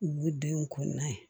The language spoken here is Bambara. U denw kɔnɔnye